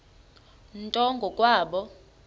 nto ngo kwabo